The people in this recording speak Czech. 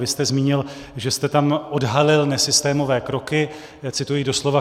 Vy jste zmínil, že jste tam odhalil nesystémové kroky, cituji doslova.